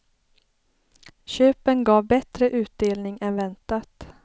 Köpen gav bättre utdelning än väntat.